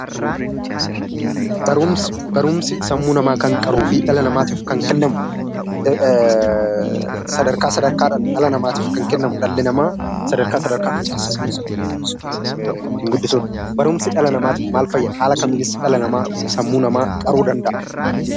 Barumsa Barumsi sammuu namaa kan qaruu fi dhala namaatiif kan kennamu, sadarkaa sadarkaa dhaan dhala namaatiif kan kennamu, dhalli namaa sadarkaa sadarkaa dhaan kan sammuu isaa ittiin guddisu dha. Barumsi dhala namaatiif maal fayyada? Haala kamiinis dhala namaa, sammuu namaa qaruu danda'a?